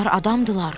Bunlar adamdırlar.